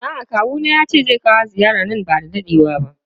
A'a kawuna yace zai kawo ziyara nan bada dadewa ba.